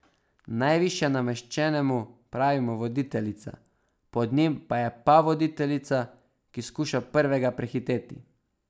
Najvišje nameščenemu pravimo voditeljica, pod njim pa je pavoditeljica, ki skuša prvega prehiteti.